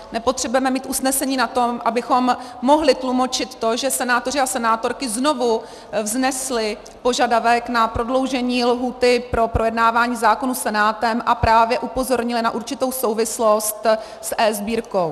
Nepotřebujeme mít usnesení na to, abychom mohli tlumočit to, že senátoři a senátorky znovu vznesli požadavek na prodloužení lhůty pro projednávání zákonů Senátem a právě upozornili na určitou souvislost s eSbírkou.